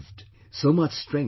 So much strength they had